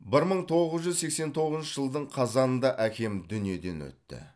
бір мың тоғыз жүз сексен тоғызыншы жылдың қазанында әкем дүниеден өтті